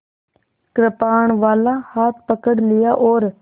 कृपाणवाला हाथ पकड़ लिया और